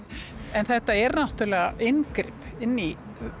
en þetta er náttúrulega inngrip inn í